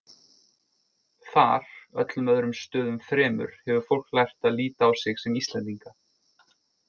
Þar, öllum öðrum stöðum fremur, hefur fólk lært að líta á sig sem Íslendinga.